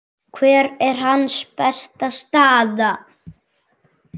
Hver er hans besta staða?